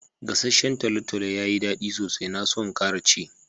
Gassacen tolotolo yayi da daddi sosai. Na so n'kara ci.